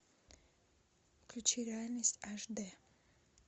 включи реальность аш д